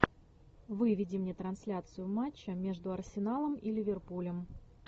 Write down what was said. выведи мне трансляцию матча между арсеналом и ливерпулем